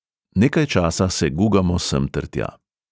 Nekaj časa se gugamo semtertja.